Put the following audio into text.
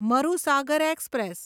Marusagar express